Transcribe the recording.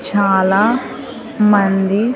చాలా మంది.